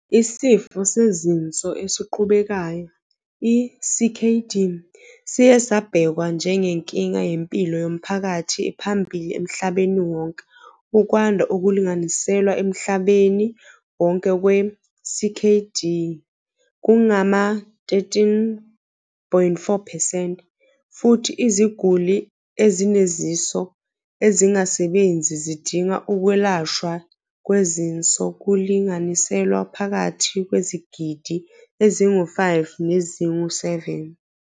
Isifo sezinso esiqhubekayo, i-CKD, siye sabhekwa njengenkinga yempilo yomphakathi ephambili emhlabeni wonke. Ukwanda okulinganiselwa emhlabeni wonke kwe-CKD kungama-13.4 percent, futhi iziguli ezinezinso ezingasebenzi zidinga ukwelashwa kwezinso kulinganiselwa phakathi kwezigidi ezingu-5 nezingu-7.